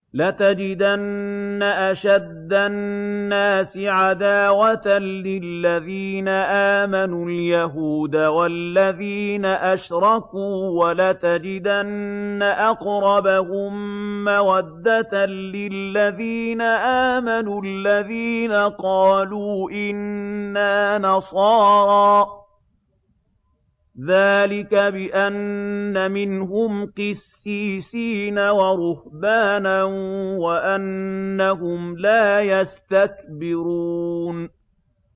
۞ لَتَجِدَنَّ أَشَدَّ النَّاسِ عَدَاوَةً لِّلَّذِينَ آمَنُوا الْيَهُودَ وَالَّذِينَ أَشْرَكُوا ۖ وَلَتَجِدَنَّ أَقْرَبَهُم مَّوَدَّةً لِّلَّذِينَ آمَنُوا الَّذِينَ قَالُوا إِنَّا نَصَارَىٰ ۚ ذَٰلِكَ بِأَنَّ مِنْهُمْ قِسِّيسِينَ وَرُهْبَانًا وَأَنَّهُمْ لَا يَسْتَكْبِرُونَ